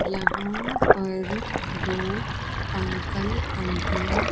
यहां पर दो अंकल आंटिया --